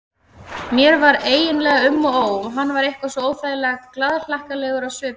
Mér var eiginlega um og ó, hann var eitthvað svo óþægilega glaðhlakkalegur á svipinn.